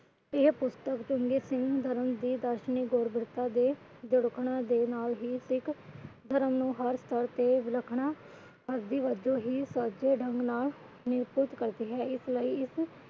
ਇਹ ਪੁਸਤਕ ਚੰਗੇ ਧਰਮ ਦੀ ਦਾਰਸ਼ਨਿਕ ਦੇ ਨਾਲ ਹੀ ਸਿੱਖ ਧਰਮ ਨੂੰ ਹਰ ਸ਼ਰਤ ਤੇ ਵਿਲੱਖਣ ਕਰਤੀ ਆ ਇਸ ਲਈ ਇਸ